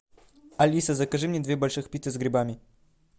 алиса закажи мне две больших пиццы с грибами